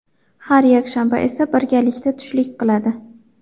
Har yakshanba esa birgalikda tushlik qiladi.